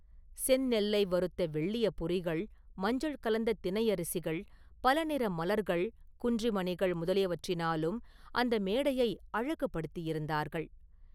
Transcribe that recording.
செந்நெல்லை வறுத்த வெள்ளிய பொரிகள், மஞ்சள் கலந்த தினையரிசிகள், பலநிற மலர்கள், குன்றி மணிகள் முதலியவற்றினாலும் அந்த மேடையை அழகுபடுத்தியிருந்தார்கள்.